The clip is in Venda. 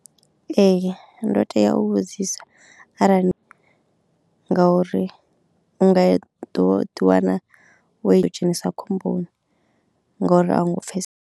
Ee ndo tea u vhudzisa arali ngauri u nga ḓo ḓi wana wo dzhenisa khomboni ngouri a u ngo pfesese.